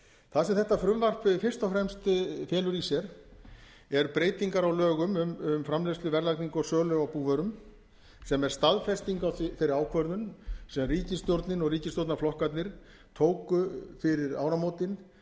það sem þetta frumvarp fyrst og fremst felur í sér er breytingar á lögum um framleiðslu verðlagningu og sölu á búvörum sem er staðfesting á þeirri ákvörðun sem ríkisstjórnin og ríkisstjórnarflokkarnir tóku fyrir áramótin